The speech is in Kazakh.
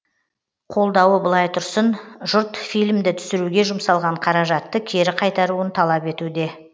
қолдауы былай тұрсын жұрт фильмді түсіруге жұмсалған қаражатты кері қайтаруын талап етуде